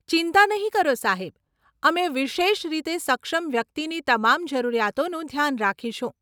ચિંતા નહીં કરો સાહેબ, અમે વિશેષ રીતે સક્ષમ વ્યક્તિની તમામ જરૂરિયાતોનું ધ્યાન રાખીશું.